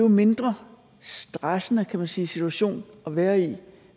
en mindre stressende kan man sige situation at være i